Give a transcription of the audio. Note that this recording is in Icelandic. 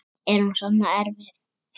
Er hún svona erfið?